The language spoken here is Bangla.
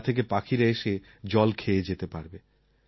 যা থেকে পাখিরা এসে জল খেয়ে যেতে পারবে